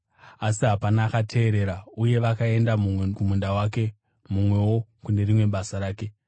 “Asi hapana akateerera uye vakaenda mumwe kumunda wake, mumwewo kune rimwe basa rake.